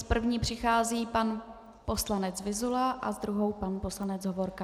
S první přichází pan poslanec Vyzula a s druhou pan poslanec Hovorka.